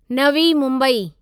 Navi Mumbai